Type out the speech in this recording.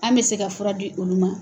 An bɛ se ka fura di olu ma